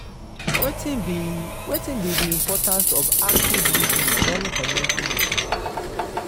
wetin be wetin be di importance of active lis ten ing during community meeting?